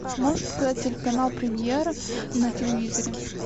можешь показать телеканал премьер на телевизоре